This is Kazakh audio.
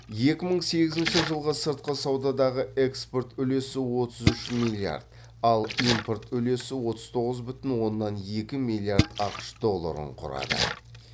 екі мың сегізінші жылғы сыртқы саудадағы экспорт үлесі отыз үш миллиард ал импорт үлесі отыз тоғыз бүтін оннан екі миллиард ақш долларын құрады